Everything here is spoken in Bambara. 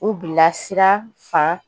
U bilasira fan